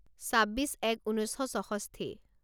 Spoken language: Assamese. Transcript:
ছাব্বিছ এক ঊনৈছ শ ছষষ্ঠি